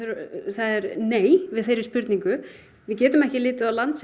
það er nei við þeirri spurningu við getum ekki litið á land